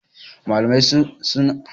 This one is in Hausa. malamai suna aiki bisa Umarnin shugaban sashi